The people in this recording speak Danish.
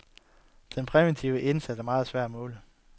Den præventive indsats er meget svær at måle.